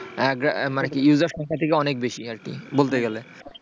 user সংখ্যা থেকে অনেক বেশি আর কি বলতে গেলে,